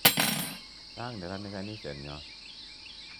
Chang' meranik kaniset nyo.